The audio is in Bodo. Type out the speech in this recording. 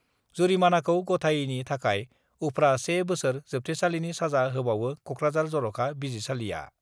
जुरिमानाखौ गथायैनि थाखाय उफ्रा 1 बोसोर जोबथेसालिनि साजा होबावो कक्राझार जर'खा बिजिरसालिआ।